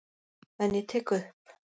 En ég tek upp.